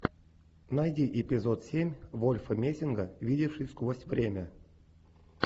найди эпизод семь вольфа мессинга видевший сквозь время